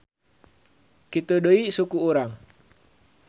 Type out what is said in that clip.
Kitu deui suku urang.